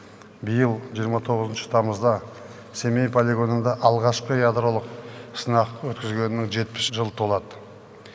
биыл жиырма тоғызыншы тамызда семей полигонында алғашқы ядролық сынақ өткізілгеніне жетпіс жыл толады